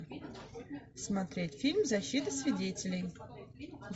смотреть фильм защита свидетелей